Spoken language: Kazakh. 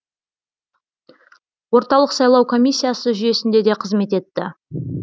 орталық сайлау комиссиясы жүйесінде де қызмет етті